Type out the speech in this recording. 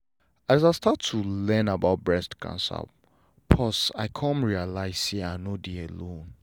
as i start to learn about breast cancer pause i come realize say i no dey alone.